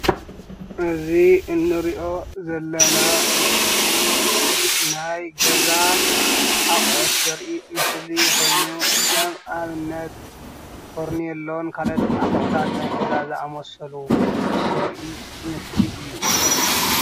እዚ እንሪኦ ዘለና ምስሊ ናይ ገዛ ኣቁሑት ዘርኢ ምስሊ ኮይኑ ከም ኣብነት ፈርኔሎን ካልኦት ኣቁሑታት ናይ ገዛ ዝኣመሰሉ ዘርኢ ምስሊ እዩ ።